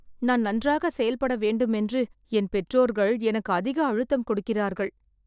நான் நன்றாக செயல்பட வேண்டும் என்று என் பெற்றோர்கள் எனக்கு அதிக அழுத்தம் கொடுக்கிறார்கள்